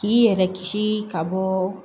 K'i yɛrɛ kisi ka bɔ